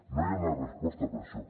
no hi ha una resposta per a això